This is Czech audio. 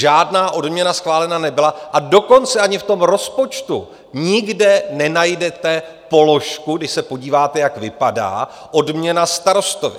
Žádná odměna schválena nebyla, a dokonce ani v tom rozpočtu nikde nenajdete položku, když se podíváte, jak vypadá, odměna starostovi.